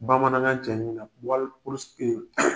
Bamanankan cɛɲi na